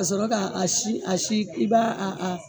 A ka sɔrɔ k'a si a si i b'a a a